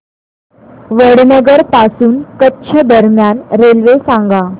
वडनगर पासून कच्छ दरम्यान रेल्वे सांगा